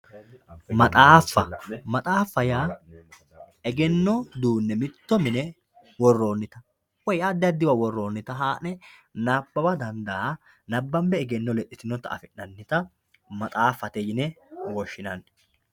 maxaafa maxaafa yaa egenno duune mitto mine worronita woy addi addiwa worronita haa'ne nabbawa dandaa nabbanbe egenno lexitinota afi'nannita maxaafate yine woshshinanni.